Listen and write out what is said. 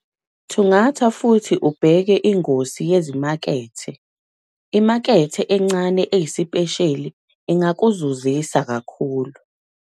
Thungatha futhi ubheke ingosi yezimakethe - imakethe encane eyisipesheli ingakuzuzisa kakhulu.